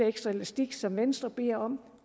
ekstra elastik som venstre beder om